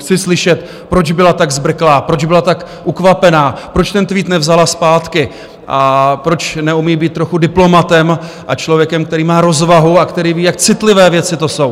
Chci slyšet, proč byla tak zbrklá, proč byla tak ukvapená, proč ten tweet nevzala zpátky a proč neumí být trochu diplomatem a člověkem, který má rozvahu a který ví, jak citlivé věci to jsou.